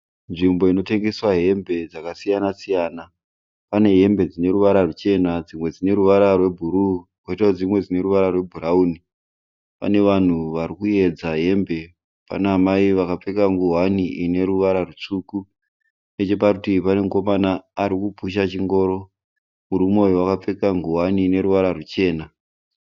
Nzvimbo inotengeswa hembe dzakasiyana siyana. Pane hembe dzine ruvara ruchena dzimwe dzine ruvara rwebhuruu poitawo dzimwe dzine ruvara rwebhurawuni. Pane vanhu vari kuedza hembe. Pana amai vakapfeka ngowani ine ruvara rutsvuku. Necheparutivi pane mukomana ari kupusha chingoro. Murume uyu akapfeka ngowani ine ruvara ruchena.